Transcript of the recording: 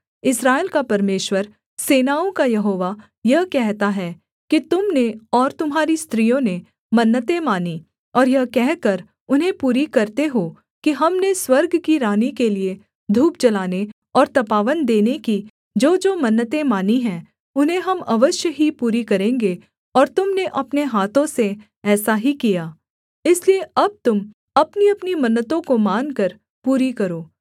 इस्राएल का परमेश्वर सेनाओं का यहोवा यह कहता है कि तुम ने और तुम्हारी स्त्रियों ने मन्नतें मानी और यह कहकर उन्हें पूरी करते हो कि हमने स्वर्ग की रानी के लिये धूप जलाने और तपावन देने की जोजो मन्नतें मानी हैं उन्हें हम अवश्य ही पूरी करेंगे और तुम ने अपने हाथों से ऐसा ही किया इसलिए अब तुम अपनीअपनी मन्नतों को मानकर पूरी करो